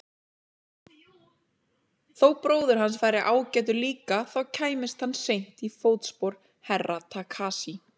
Þó bróðir hans væri ágætur líka þá kæmist hann seint í fótspor Herra Takashi.